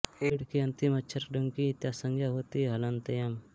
एङ् के अन्तिम अक्षर ङ्की इत् संज्ञा होती है हलन्त्यम्